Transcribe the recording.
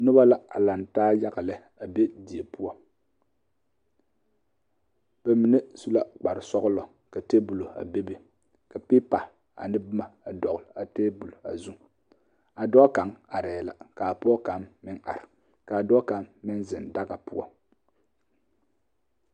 Noba la a laŋ taa yaga lɛ a be die poɔ ba mine su la kpare sɔglɔ ka tabolɔ a bebe ka pipa ne boma a dɔgle a tabol a zuŋ a dɔɔ kaŋ arɛɛ la kaa pɔge kaŋ meŋ are kaa dɔɔ kaŋ meŋ ziŋ daga poɔ.